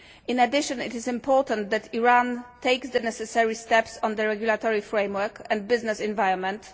In addition, it is important that Iran takes the necessary steps on the regulatory framework and business environment.